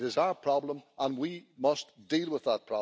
It is our problem and we must deal with it.